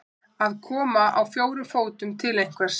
Að koma á fjórum fótum til einhvers